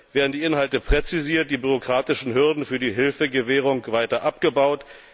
Dabei werden die Inhalte präzisiert, die bürokratischen Hürden für die Hilfegewährung weiter abgebaut.